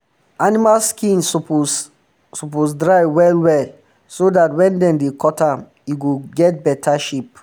animal skin suppose suppose dry well well so dat wen dem dey cut am e go get better shape